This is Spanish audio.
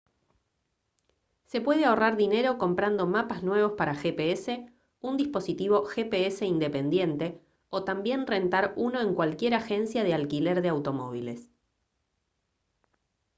se puede ahorrar dinero comprando mapas nuevos para gps un dispositivo gps independiente o también rentar uno en cualquier agencia de alquiler de automóviles